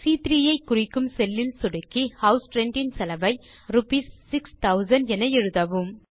சி3 ஐ குறிக்கும் செல் இல் சொடுக்கி ஹவுஸ் ரென்ட் இன் செலவை ரூப்பீஸ் 6000 என எழுதவும்